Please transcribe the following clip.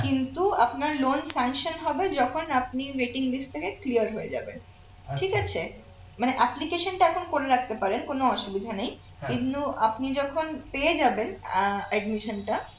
কিন্তু আপনার loan sanction হবে যখন আপনি waiting list থেকে clear হয়ে যাবেন ঠিক আছে মানে application টা এখন করে রাখতে পারেন কোন অসুবিধা নেই কিন্তু আপনি যখন পেয়ে যাবেন আহ admission টা